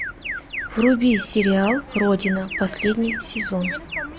вруби сериал родина последний сезон